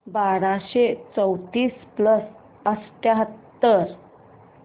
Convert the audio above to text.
बाराशे चौतीस प्लस अठ्याहत्तर